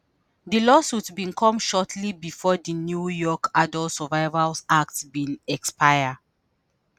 di lawsuits bin come shortly bifor di new york adult survivors act bin expire.